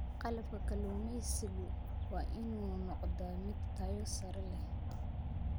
Qalabka kalluumaysigu waa inuu noqdaa mid tayo sare leh.